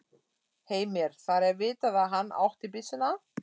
Heimir: Það er vitað að hann átti byssuna?